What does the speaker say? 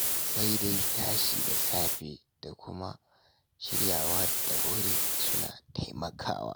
Sai dai tashi da safe, da kuma shiryawa da wuri, suna taimakawa.